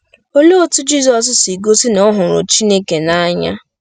Olee otú Jizọs si gosi na ọ hụrụ Chineke n’anya?